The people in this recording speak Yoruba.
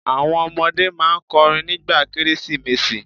Àwọn ọmọdé máa n kọrin nígbà Kérésìmesì